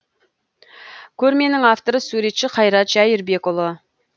көрменің авторы суретші қайрат жәйірбекұлы